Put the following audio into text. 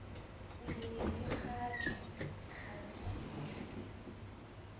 bolemi di kgatšwa di kgatšitšwe